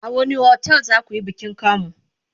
a wani otel zakuyi bikin kamu?